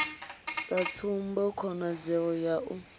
sa tsumbo khonadzeo ya u